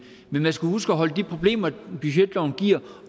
men man skal huske at holde de problemer budgetloven giver